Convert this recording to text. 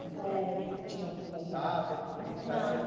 Eh... Ou tinha algum contato, alguma coisa já, não,